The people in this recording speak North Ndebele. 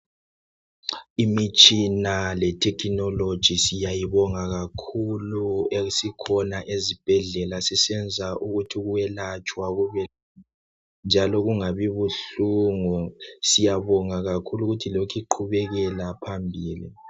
Imitshina lethekhinoloji siyayibonga kakhulu esikhona ezibhedlela isisenza ukuba ukuyelatshwa kubelula njalo kungabi buhlungu. Siyabonga kakhulu ukuthi lokhe iqhubekela phambili.